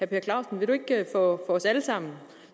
per clausen vil du ikke for os alle sammen